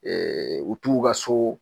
Ɛɛ u t'u ka so